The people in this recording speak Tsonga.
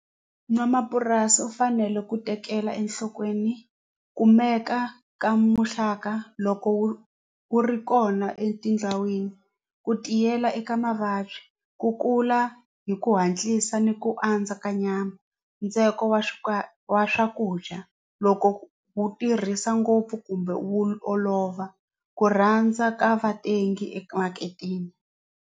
N'wamapurasi u fanele ku tekela enhlokweni kumeka ka muxaka loko wu wu ri kona etindhawini ku tiyela eka mavabyi ku kula hi ku hatlisa ni ku andza ka nyama ntsengo wa wa swakudya loko wu tirhisa ngopfu kumbe wu olova ku rhandza ka vatengi emaketeni.